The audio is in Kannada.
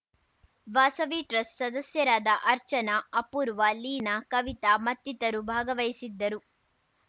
ವಾಸವಿ ಟ್ರಸ್ಟ್ ಸದಸ್ಯರಾದ ಅರ್ಚನಾ ಅಪೂರ್ವ ಲೀನಾ ಕವಿತಾ ಮತ್ತಿತರು ಭಾಗವಹಿಸಿದ್ದರು